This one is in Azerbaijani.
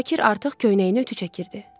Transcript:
Şakir artıq köynəyini ütü çəkirdi.